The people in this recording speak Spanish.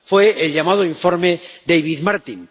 Fue el llamado informe David Martin.